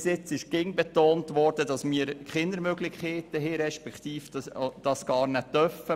Bis heute wurde immer betont, dass wir keine Möglichkeiten haben respektive gar keinen Einfluss nehmen dürfen.